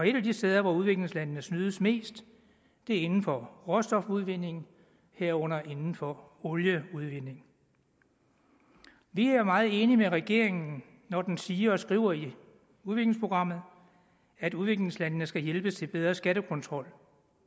et af de steder hvor udviklingslandene snydes mest er inden for råstofudvinding herunder inden for olieudvinding vi er meget enige med regeringen når den siger og skriver i udviklingsprogrammet at udviklingslandene skal hjælpes til bedre skattekontrol